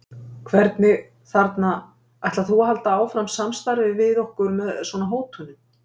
hvernig, þarna, ætlar þú að halda áfram samstarfi við okkur með svona hótunum?